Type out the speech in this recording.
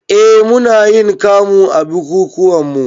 Eh munayin kamu a bukukuwanmu